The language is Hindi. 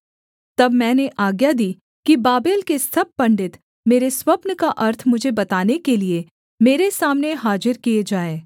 तब मैंने आज्ञा दी कि बाबेल के सब पंडित मेरे स्वप्न का अर्थ मुझे बताने के लिये मेरे सामने हाजिर किए जाएँ